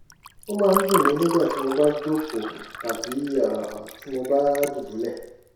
ó máa ń dùn mí nígbà tí mo bá jókòó tàbí um tí mo bá dùbúlẹ̀